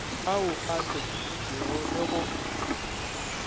ao a hlokišitšwego le go